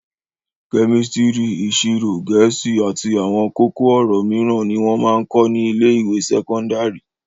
Kẹ́mísítírì, ìṣirò, Gẹ̀ẹ́sì àti àwọn kókó-ọ̀rọ̀ mìíràn ni wọ́n ń máa ń kọ́ ní ilé-ìwé sẹ́kọ́ndárì.